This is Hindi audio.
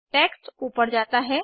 टेक्स्ट ऊपर जाता है